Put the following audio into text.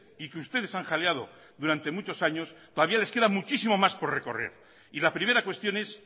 y que ustedes han jaleado durante muchos años todavía les queda muchísimo más por recorrer y la primera cuestión es